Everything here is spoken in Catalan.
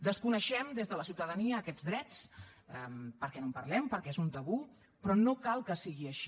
desconeixem des de la ciutadania aquests drets perquè no en parlem perquè és un tabú però no cal que sigui així